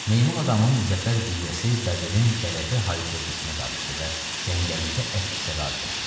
Meymun adamın zəfər qiyyəsi bəbirin qələbə hayqırtısına qarışdı və cəngəllikdə əks seda verdi.